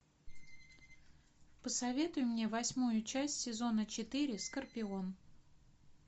посоветуй мне восьмую часть сезона четыре скорпион